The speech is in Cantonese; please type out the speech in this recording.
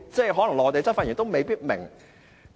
可能內地執法人員也未必明白。